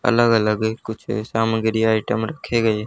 अलग अलग है कुछ सामग्री आइटम रखे गए।